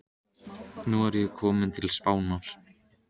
Nú er ég kominn til Spánar.